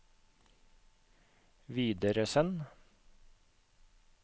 videresend